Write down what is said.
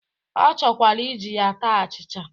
Ọ chọkwara iji ya taa achịcha